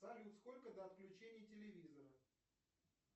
салют сколько до отключения телевизора